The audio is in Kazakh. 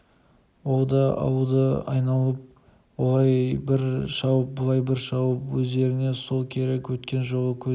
ол да ауылды айналып олай бір шауып бұлай бір шауып өздеріңе сол керек өткен жолы көзін